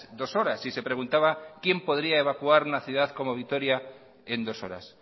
dos horas y se preguntaba quién podría evacuar una ciudad como vitoria en dos horas